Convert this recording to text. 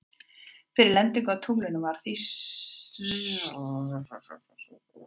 Fyrir lendingu á tunglinu var þrýstikrafturinn frá eldflauginni langt frá fullum styrk.